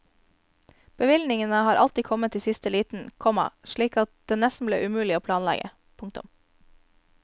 Bevilgningene har alltid kommet i siste liten, komma slik at det nesten ble umulig å planlegge. punktum